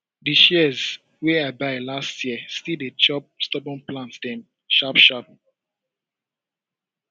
di shears wey i buy last year still dey chop stubborn plant dem sharp sharp